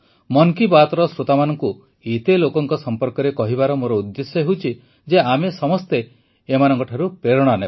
ମନ୍ କୀ ବାତ୍ର ଶ୍ରୋତାମାନଙ୍କୁ ଏତେ ଲୋକଙ୍କ ସମ୍ପର୍କରେ କହିବାର ମୋର ଉଦ୍ଦେଶ୍ୟ ହେଉଛି ଯେ ଆମେ ସମସ୍ତେ ଏମାନଙ୍କଠାରୁ ପ୍ରେରଣା ନେବା